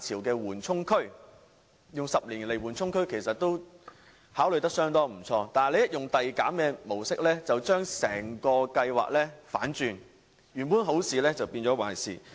用10年作為緩衝區這個主意相當不錯，但一旦使用遞減的模式，便將整個計劃反轉，原本好事變壞事。